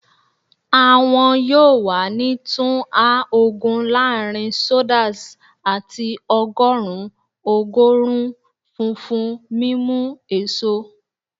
Awọn yoo wa ni tun a ogun laarin sodas ati ọgọrun ogorun funfun mimu eso